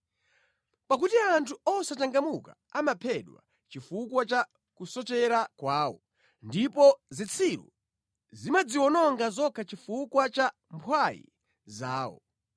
Pakuti anthu osachangamuka amaphedwa chifukwa cha kusochera kwawo, ndipo zitsiru zimadziwononga zokha chifukwa cha mphwayi zawo.